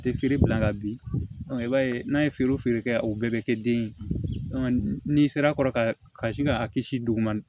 A tɛ feere bila ka bin i b'a ye n'a ye feere kɛ o bɛɛ bɛ kɛ den ye n'i sera a kɔrɔ ka sin ka kisi duguma